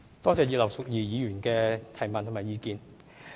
多謝葉劉淑儀議員的補充質詢和意見。